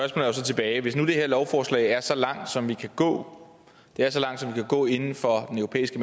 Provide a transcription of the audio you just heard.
tilbage hvis nu det her lovforslag er så langt som vi kan gå inden for den europæiske